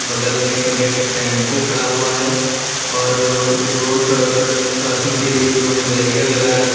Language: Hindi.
बगल में एक रेड टेंपू खड़ा हुआ है और रोड क्रॉसिंग के लिए उन्होंने बैरियर लगा रखे हैं।